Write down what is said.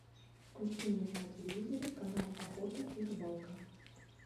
включи мне на телевизоре канал охота и рыбалка